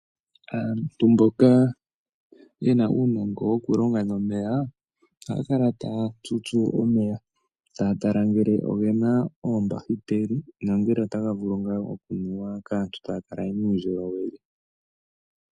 Aantu mboka ye na uunongo wokulonga nomeya ohaya kala taya tutsu omeya taya tala ngele ogena oombahiteli nongele otaga vulu ngaa okunuwa kaantu e taya kala ye na uundjolowele.